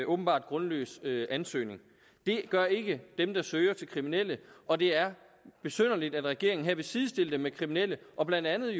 åbenbart grundløs ansøgning det gør ikke dem der søger til kriminelle og det er besynderligt at regeringen her vil sidestille dem med kriminelle og blandt andet